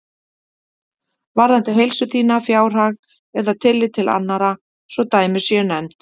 varðað heilsu þína, fjárhag eða tillit til annarra svo dæmi séu nefnd.